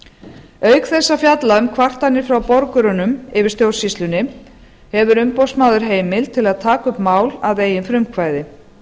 auk þess að fjalla um kvartanir frá borgurunum yfir stjórnsýslunni hefur umboðsmaður heimild til að taka upp mál að eigin frumkvæði